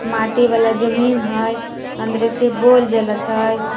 माटी वाला जमीन हइ अंदरे से बॉल जलैत हइ ।